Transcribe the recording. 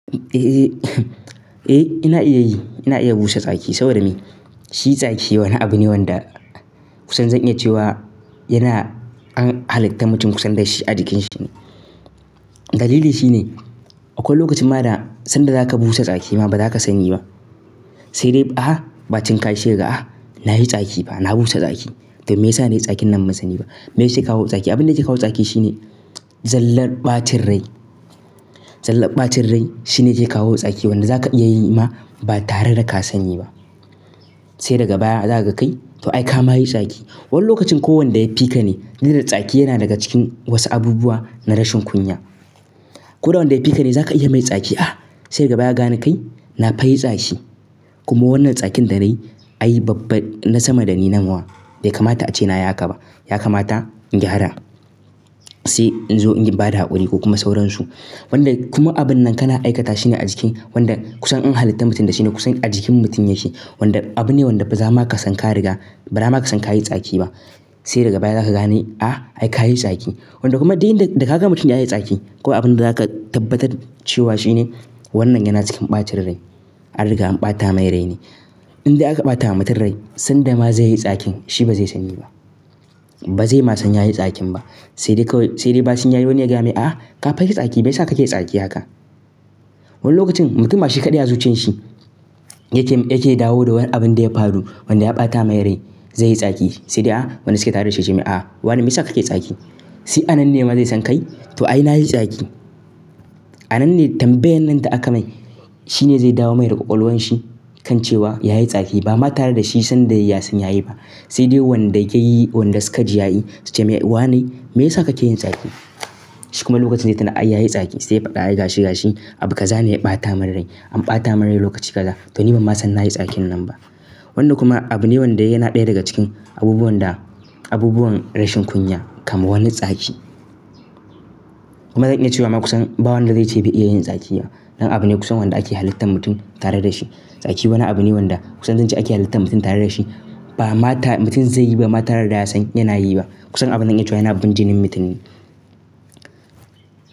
Eh, ina iya yi. Ina iya busa tsaki saboda me? Shi tsaki wani abu ne wanda kusan zan iya cewa yana an halitta mutum kusan da shi a jikin shi ne. Dalili shi ne, akwai lokacin ma da sanda za ka busa tsaki ma ba za ka sani ba. Sai dai, "aha! Ɓacin ka shega. Ah, na yi tsaki ba na busa tsaki." To, me ya sa na yi tsakin nan ban sani ba? Me ya yake kawo tsaki? Abin da ya kawo tsaki shi ne zallar ɓacin rai. Zallar ɓacin rai shi ne zai kawo tsaki wanda za ka ya yi ma ba tare da ka sani ba. Sai daga baya za ka kai, to ai ka ma yi tsaki. Wani lokacin ko wanda ya fi ka ne, duk da tsaki yana daga cikin wasu abubuwa na rashin kunya. Ko da wanda ya fi ka ne za ka iya mai tsaki. Ah, sai daga baya ga ni kai, na fai tsaki. Kuma wannan tsakin da na yi ai babba na sama da ni namuwa. Bai kamata ace na y haka ba. Ya kamata in gyara. Sai in zo in bada haƙuri ko kuma sauransu. Wanda kuma abun nan ka na aikata shi ne a jikin wanda kusan an halitta mutum da shi ne. Kusan a jikin mutum ya shi. Wanda abu ne wanda ba za ma ka san ka riga, ba za ma ka san ka yi tsaki ba. Sai daga baya za ka gane, ah ai ka yi tsaki. Wanda kuma dai da ka ga mutum ya yi tsaki ko abin da za ka tabbatar cewa shi ne wannan yana cikin ɓacin rai. An riga an ɓata mai rai ne. In dai aka ɓata wa mutum rai, sanda ma zai yi tsakin shi ba zai sani ba. Ba zai ma san ya yi tsakin ba. Sai dai kawai, sai dai ɓacin ya yi wani yaga mai, "ah, ka fai tsaki." Me ya sa ka ke tsaki haka? Wani lokacin mutum ba shi kaɗai zuciyar shi yake, yake dawo da wani abin da ya faru wanda ya ɓata mai rai. Zai yi tsaki. Sai dai, ah wani suka tare da shi ya ce mai, "ah, wane me ya sa ka ke tsaki?" Sai a nan ne ma zai san kai, to ai na yi tsaki. A nan ne tambayan nan da aka mai shi ne zai dawo mai daga ƙwaƙwalwan shi kan cewa ya yi tsaki ba ma tare da shi sanda ya san ya yi ba. Sai dai wanda ya yi, wanda suka ji ya yi su ce mai, "wane me ya sa ka ke yin tsaki?" Shi kuma lokacin zai tuna, ai ya yi tsaki. Sai ya faɗa, ai gashi gashi. Abu ka zane ya ɓata min rai. An ɓata min rai lokaci kaza to ni ba ma san na yi tsakin nan ba. Wannan kuma abu ne wanda yana ɗaya daga cikin abubuwan da abubuwan rashin kunya kamar wani tsaki. Kuma zan iya cewa ma kusan ba wanda zai ce bai iya yin tsaki ba. Dan abu ne kusan wanda ake halitta mutum tare da shi. Tsaki wani abu ne wanda kusan zan ce ake halitta mutum tare da shi. Ba ma ta mutum zai yi ba ma tare da ya san yana yi ba. Kusan abun nan ai cewa yana abun jinin mutum ne.